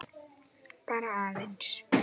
Bara aðeins.